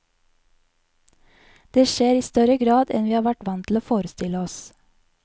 Det skjer i større grad enn vi har vært vant til å forestille oss.